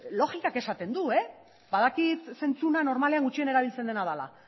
logikak esaten du badakit zentzua normalean gutxien erabiltzen dena dela